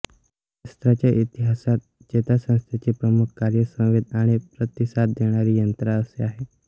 शास्त्राच्या इतिहासात चेतासंस्थेचे प्रमुख कार्य संवेद आणि प्रतिसाद देणारी यंत्रणा असे आहे